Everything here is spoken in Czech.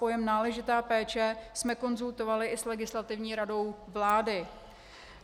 Pojem náležitá péče jsme konzultovali i s Legislativní radou vlády.